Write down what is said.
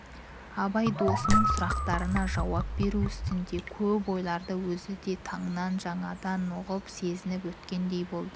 абай досының сұрақтарына жауап беру үстінде көп ойларды өзі де тыңнан жаңадан үғынып сезініп өткендей болды